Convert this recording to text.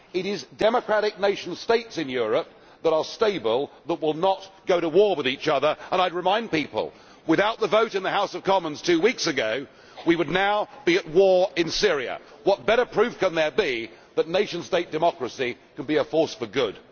It is democratic nation states in Europe, that are stable, that will not go to war with each other, which are a force for good and I would remind people that, without the vote in the House of Commons two weeks ago, we would now be at war in Syria. What better proof can there be that nation state democracy can be a force for good?